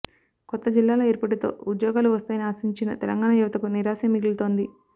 కొత్త జిల్లాల ఏర్పాటుతో ఉద్యోగాలు వస్తాయని ఆశించిన తెలంగాణ యువతకు నిరాశే మిగులుతోంది